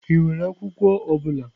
Ị nwere akwụkwọ ọ bụla?